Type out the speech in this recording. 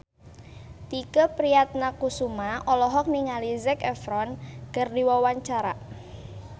Tike Priatnakusuma olohok ningali Zac Efron keur diwawancara